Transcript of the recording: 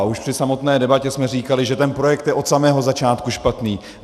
A už při samotné debatě jsme říkali, že ten projekt je od samého začátku špatný.